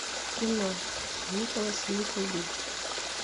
кино николас никлби